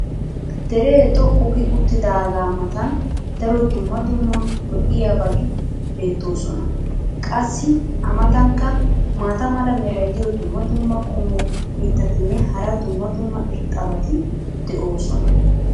Deree xoqqu gi uttidaagaa matan daro dumma dumma lo'iyaabagi beetoosona. qassi a matankka maata mala meray diyo dumma dumma qommo mitattinne hara dumma dumma irxxabati de'oosona.